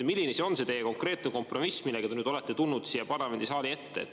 Milline siis on teie konkreetne kompromiss, millega te olete tulnud siia parlamendisaali ette?